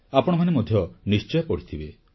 ଆପଣମାନେ ମଧ୍ୟ ନିଶ୍ଚୟ ପଢ଼ିଥିବେ